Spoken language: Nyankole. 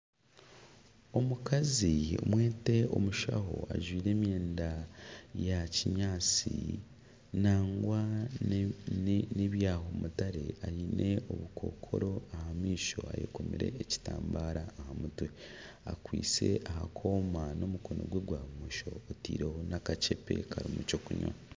Omukazi mwete omushaho ajwaire emyenda ya kinyaatsi nangwa n'ebya mutare aine obukookoro aha maisho okomire ekitambaara aha mutwe, akwaitse aha kooma n'omukono n'omukono gwe gwa bumosho ateireho n'akakyepe kariho eky'okunywa.